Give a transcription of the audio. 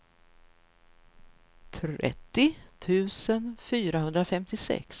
trettio tusen fyrahundrafemtiosex